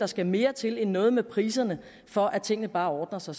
skal mere til end noget med priserne for at tingene bare ordner sig